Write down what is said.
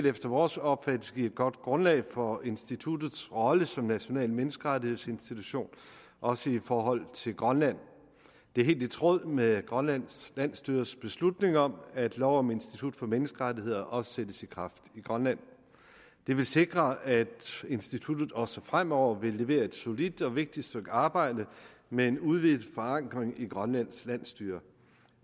efter vores opfattelse vil give et godt grundlag for instituttets rolle som national menneskerettighedsinstitution også i forhold til grønland det er helt i tråd med grønlands landsstyres beslutning om at lov om institut for menneskerettigheder også sættes i kraft i grønland det vil sikre at instituttet også fremover vil levere et solidt og vigtigt stykke arbejde med en udvidet forankring i grønlands landsstyre